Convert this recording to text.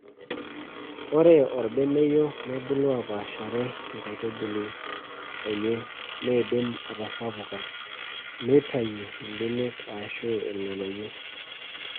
Ore orbeneyio nebulu apaashare enkaitubului enye neidim atasapuka neitayu ibenek ashu irng`anayio.